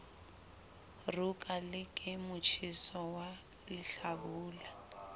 roka le ke motjheso walehlabula